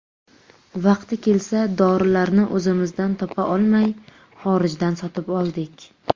Vaqti kelsa dorilarni o‘zimizdan topa olmay, xorijdan sotib oldik.